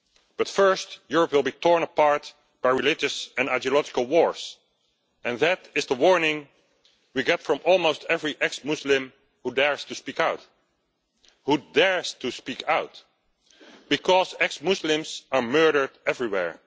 But first, Europe will be torn apart by religious and ideological wars, and that is the warning we get from almost every ex-Muslim who dares to speak out, who dares to speak out. Because ex-Muslims are murdered everywhere.